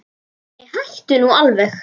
Nei, hættu nú alveg!